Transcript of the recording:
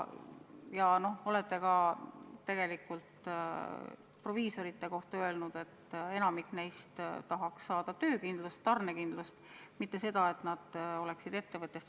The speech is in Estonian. Ja olete tegelikult proviisorite kohta öelnud, et enamik neist tahaks saada töökindlust, tarnekindlust, mitte seda, et nad oleksid ettevõtjad.